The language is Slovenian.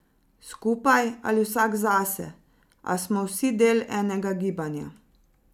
Skupaj ali vsak zase, a smo vsi del enega gibanja.